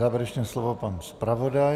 Závěrečné slovo pan zpravodaj.